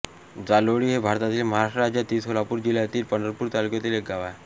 जालोळी हे भारतातील महाराष्ट्र राज्यातील सोलापूर जिल्ह्यातील पंढरपूर तालुक्यातील एक गाव आहे